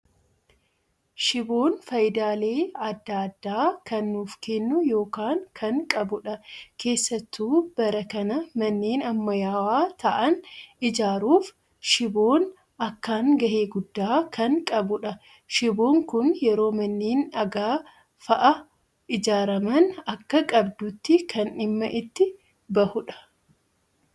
Shiboon fayidaalee addaa addaa kan nuuf kennu yookaan kan qabudha. Keessattuu bara kana manneen ammayyaawaa ta'an ijaaruuf shiboon akkaan gahee guddaa kan qabudha. Shiboon Kun yeroo manneen dhagaa fa'aa ijaaraman akka qabduutti kan dhimma itti bahudha.